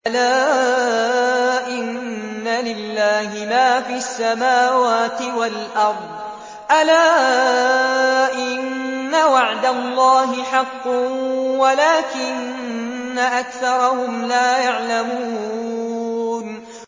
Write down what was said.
أَلَا إِنَّ لِلَّهِ مَا فِي السَّمَاوَاتِ وَالْأَرْضِ ۗ أَلَا إِنَّ وَعْدَ اللَّهِ حَقٌّ وَلَٰكِنَّ أَكْثَرَهُمْ لَا يَعْلَمُونَ